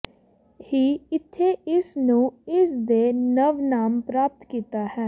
ਹੀ ਇੱਥੇ ਇਸ ਨੂੰ ਇਸ ਦੇ ਨਵ ਨਾਮ ਪ੍ਰਾਪਤ ਕੀਤਾ ਹੈ